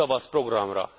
az Új Tavasz Programra.